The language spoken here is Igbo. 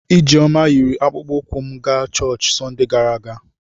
Ijeoma yiri akpụkpọ ụkwụ m gaa chọọchị Sọnde gara aga.